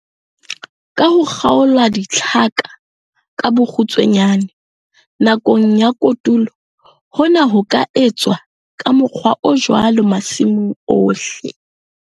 Ka ho kgaola ditlhaka ka bokgutshwanyane nakong ya kotulo, hona ho ka etswa ka mokgwa o jwalo masimong ohle.